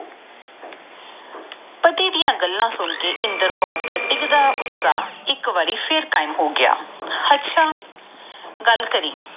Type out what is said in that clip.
ਪੱਟੀ ਡਾ ਗੱਲਾਂ ਸੁਨ ਕੇ ਇੰਦਰ ਕੌਰ ਦਾ ਗਿਗਦਾ ਉਤਸ਼ਾਹ ਫੇਰ ਕਾਇਮ ਹੋਗਿਆ ਹਟਸ ਗੱਲ ਕਰਿ